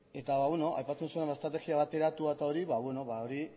eta aipatzen zuen estrategia bateratua eta hori